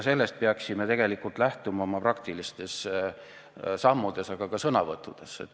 Sellest peaksime tegelikult lähtuma oma praktilistes sammudes, aga ka sõnavõttudes.